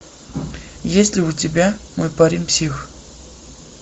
есть ли у тебя мой парень псих